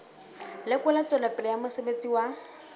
lekola tswelopele ya mosebetsi wa